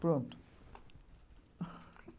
Pronto